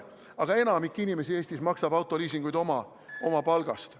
Aga enamik inimesi Eestis maksab autoliisingut oma palgast.